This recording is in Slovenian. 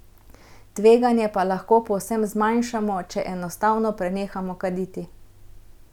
Tveganje pa lahko povsem zmanjšamo, če enostavno prenehamo kaditi.